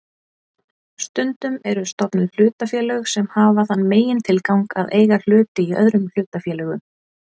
Stundum eru stofnuð hlutafélög sem hafa þann megintilgang að eiga hluti í öðrum hlutafélögum.